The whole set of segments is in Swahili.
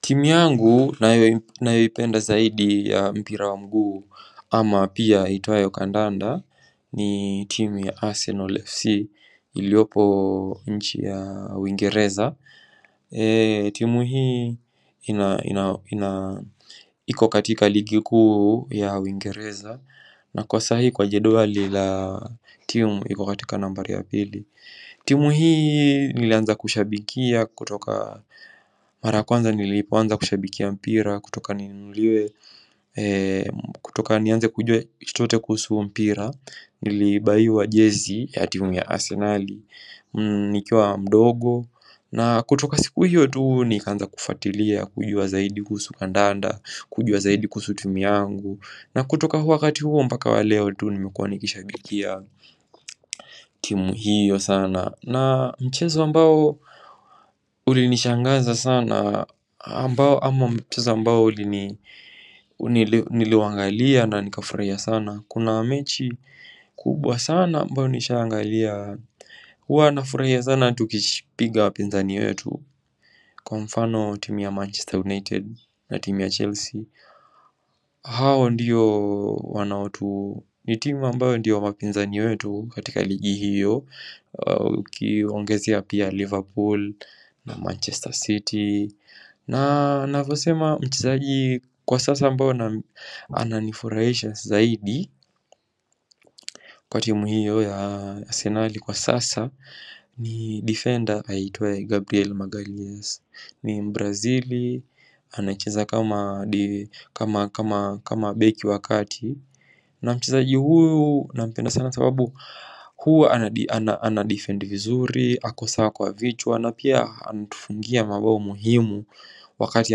Timu yangu ninayoipenda zaidi ya mpira wa mguu ama pia iitwayo kandanda ni timu ya Arsenal FC iliyopo nchi ya Uingereza. Timu hii iko katika ligi kuu ya Uingereza na kwa sahii kwa jedwali la timu iko katika nambari ya pili. Timu hii nilianza kushabikia kutoka mara kwanza nilipoanza kushabikia mpira kutoka nianze kujua kitu chochote kuhusu mpira nilibuyiwa jezi ya timu ya Arsenali nikiwa mdogo na kutoka siku hiyo tu nikaanza kufuatilia kujua zaidi kuhusu kandanda kujua zaidi kuhusu timu yangu na kutoka wakati huo mpaka wa leo tu nimekuwa nikishabikia timu hiyo sana na mchezo ambao ulinishangaza sana ama mchezo ambao ulini niliuangalia na nikafurahia sana kuna mechi kubwa sana ambayo nishaangalia Huwa nafurahia sana tukipiga wapinzani wetu kwa mfano timu ya Manchester United na timu ya Chelsea hao ndiyo wanaotu ni timu ambayo ndiyo wapinzani wetu katika ligi hiyo Ukiongezea pia Liverpool na Manchester City na navyosema mchezaji kwa sasa ambao ananifurahisha zaidi kwa timu hiyo ya Arsenali kwa sasa ni defender aitwaye Gabriel Maghalias ni mbrazili anacheza kama beki wa kati na mchezaji huyu nampenda sana sababu huwa anadifendi vizuri, ako sawa kwa vichwa, na pia anatufungia mabao muhimu Wakati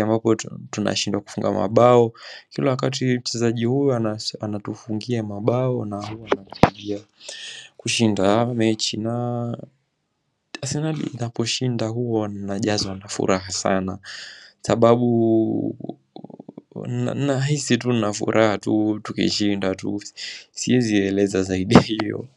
ambapo tunashindwa kufunga mabao kila wakati mchezaji huyu anatufungia mabao na huwa anatufungia kushinda mechi na Arsenali inaposhinda huwa najazwa na furaha sana sababu nahisi tu nina furaha tukishinda, siwezi eleza zaidi hiyo.